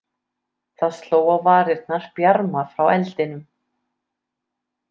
Það sló á varirnar bjarma frá eldinum.